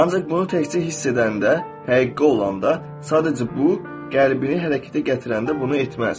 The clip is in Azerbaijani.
Ancaq bunu təkcə hiss edəndə, həqqi olanda, sadəcə bu, qəlbini hərəkətə gətirəndə bunu etməz.